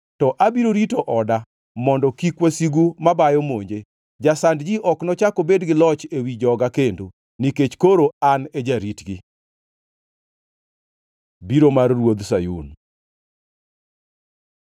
To abiro rito oda mondo kik wasigu mabayo monje, Jasand ji ok nochak obed gi loch ewi joga kendo, nikech koro an e jaritgi. Biro ma Ruodh Sayun